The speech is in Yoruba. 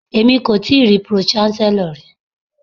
Èmi kò tíì rí pro-chancellor rí.